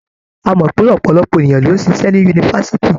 A mọ̀ pé ọ̀pọ̀lọpọ̀ ènìyàn ló ń ṣiṣẹ́ ní yunifásitì.